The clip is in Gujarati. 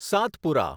સાતપુરા